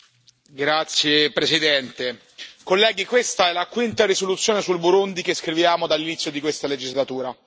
Signora Presidente, onorevoli colleghi, questa è la quinta risoluzione sul Burundi che scriviamo dall'inizio di questa legislatura.